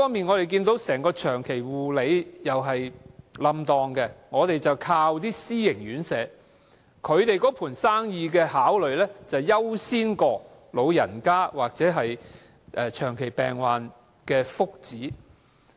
我們依靠私營院舍提供服務，但私營院舍優先考慮的是生意，而不是老人家或長者病患的福祉。